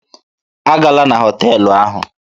A gala na họtelụ ahụ!